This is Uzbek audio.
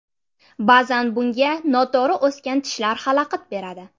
Ba’zan bunga noto‘g‘ri o‘sgan tishlar xalaqit beradi.